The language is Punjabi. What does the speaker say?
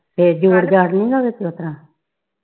ਇਹ ਜੋੜ ਜਾੜ ਨਹੀਂ ਨਾ ਵਿਚ ਉਸ ਤਰ੍ਹਾਂ